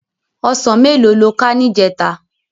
Òsán méló ló ká nijètá?